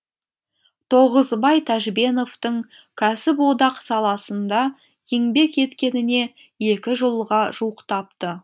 тоғызбай тәжбеновтің кәсіподақ саласында еңбек еткеніне екі жылға жуықтапты